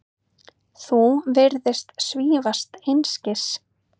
Þú virðist svífast einskis.